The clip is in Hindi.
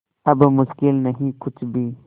अब मुश्किल नहीं कुछ भी